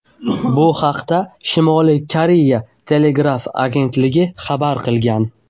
Bu haqda Shimoliy Koreya telegraf agentligi xabar qilgan .